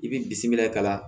I b'i bisimila ka na